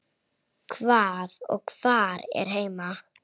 Hvað og hvar er heima?